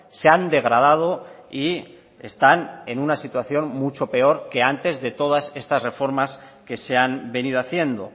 se han degradado y están en una situación mucho peor que antes de todas estas reformas que se han venido haciendo